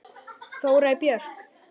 Þórey Björk.